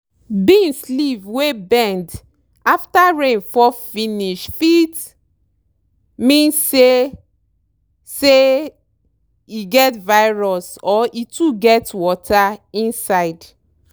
beans leave wey bend after rain fall finish fit meas say say e get virus or e too get water inside.